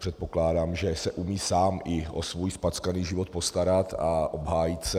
Předpokládám, že se umí sám i o svůj zpackaný život postarat a obhájit se.